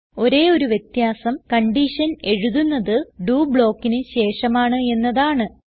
ഒരേ ഒരു വ്യത്യാസം കൺഡിഷൻ എഴുതുന്നത് ഡോ ബ്ലോക്കിന് ശേഷമാണ് എന്നതാണ്